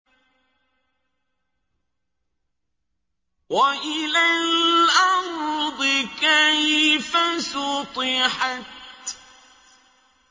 وَإِلَى الْأَرْضِ كَيْفَ سُطِحَتْ